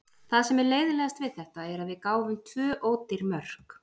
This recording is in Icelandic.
Það sem er leiðinlegast við þetta er að við gáfum tvö ódýr mörk.